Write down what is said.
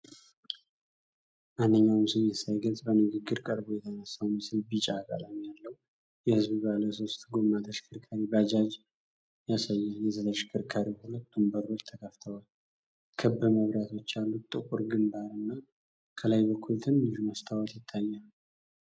ማንኛውንም ስሜት ሳይገልጽ በግንባር ቀርቦ የተነሳው ምስል ቢጫ ቀለም ያለው የሕዝብ ባለ ሦስት ጎማ ተሽከርካሪ (ባጃጅ) ያሳያል። የተሽከርካሪው ሁለቱም በሮች ተከፍተዋል፤ ክብ መብራቶች ያሉት ጥቁር ግምባር እና ከላይ በኩል ትንሽ መስታወት ይታያል።